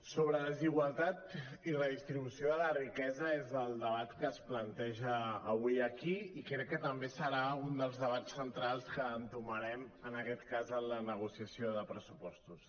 sobre la desigualtat i la distribució de la riquesa és el debat que es planteja avui aquí i crec que també serà un dels debats centrals que entomarem en aquest cas en la negociació de pressupostos